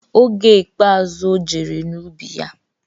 Oge ikpeazụ ojere n'ubi ya,